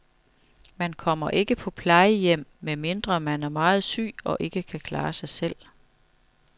Man kommer ikke på plejehjem, medmindre man er meget syg og ikke kan klare sig selv.